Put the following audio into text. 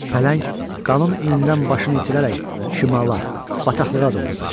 Pələng qanın iyindən başını itirərək şimala, bataqlığa doğru qaçır.